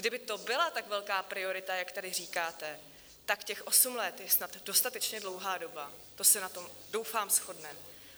Kdyby to byla tak velká priorita, jak tady říkáte, tak těch osm let je snad dostatečně dlouhá doba, to se na tom doufám shodneme.